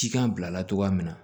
Cikan bila cogoya min na